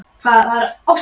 Og nú gaf á að líta.